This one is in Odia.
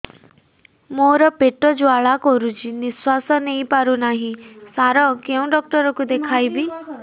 ମୋର ପେଟ ଜ୍ୱାଳା କରୁଛି ନିଶ୍ୱାସ ନେଇ ପାରୁନାହିଁ ସାର କେଉଁ ଡକ୍ଟର କୁ ଦେଖାଇବି